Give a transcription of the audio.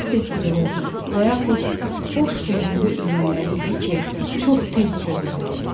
Tez-tez qırılırdı və yaxud boş düyünlü ilmələri idi ki, çox tez çözülürdü.